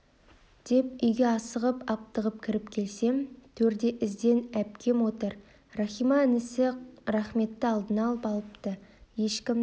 деп үйге асығып-аптығып кіріп келсем төрде іздән әпкем отыр рахима інісі рахметті алдына алып алыпты ешкімді